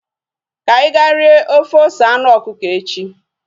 Ka anyị ga rie ofe ose anụ ọkụkọ echi